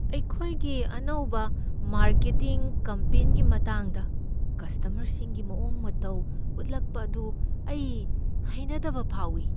ꯑꯩꯈꯣꯏꯒꯤ ꯑꯅꯧꯕ ꯃꯥꯔꯀꯦꯇꯤꯡ ꯀꯝꯄꯦꯟꯒꯤ ꯃꯇꯥꯡꯗ ꯀꯁ꯭ꯇꯃꯔꯁꯤꯡꯒꯤ ꯃꯑꯣꯡ ꯃꯇꯧ ꯎꯠꯂꯛꯄ ꯑꯗꯨ ꯑꯩ ꯍꯩꯅꯗꯕ ꯐꯥꯎꯏ ꯫